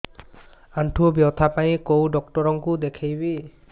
ଆଣ୍ଠୁ ବ୍ୟଥା ପାଇଁ କୋଉ ଡକ୍ଟର ଙ୍କୁ ଦେଖେଇବି